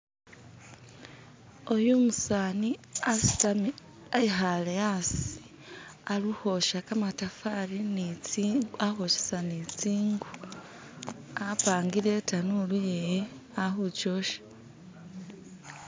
oyu umusaani asitami ekhale aasi alikhwosha kamatafali ni tsingu alikhwoshesa ni tsingu, apangile itanulu yewe alikukyosha.